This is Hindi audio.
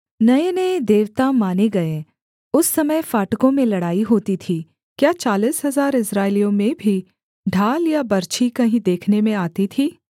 नयेनये देवता माने गए उस समय फाटकों में लड़ाई होती थी क्या चालीस हजार इस्राएलियों में भी ढाल या बर्छी कहीं देखने में आती थी